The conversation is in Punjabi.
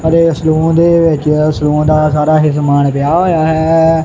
ਅਤੇ ਸਲੂਨ ਦੇ ਵਿੱਚ ਸਲੂਨ ਦਾ ਸਾਰਾ ਹੀ ਸਮਾਨ ਪਿਆ ਹੋਇਆ ਹੈ।